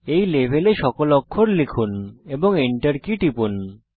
এই লেভেলে সকল অক্ষর লিখুন এবং Enter কী টিপুন